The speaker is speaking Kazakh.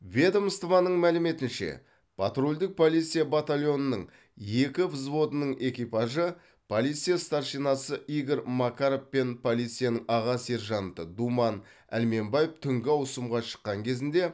ведомствоның мәліметінше патрульдік полиция батальонының екі взводының экипажы полиция старшинасы игорь макаров пен полицияның аға сержанты думан әлменбаев түнгі ауысымға шыққан кезінде